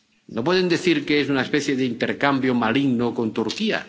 no pueden decir que es una especie de intercambio maligno con Turquía.